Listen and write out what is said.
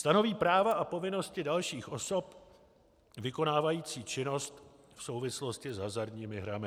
Stanoví práva a povinnosti dalších osob vykonávajících činnost v souvislosti s hazardními hrami.